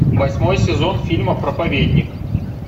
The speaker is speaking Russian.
восьмой сезон фильма проповедник